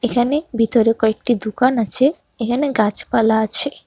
এখানে ভিতরে কয়েকটি দুকান আছে এখানে গাছপালা আছে।